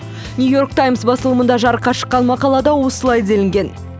нью йорк таймс басылымында жарыққа шыққан мақалада осылай делінген